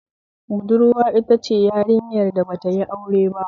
Budurwa itace yarinyar da batayi aure ba